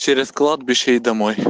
через кладбище и домой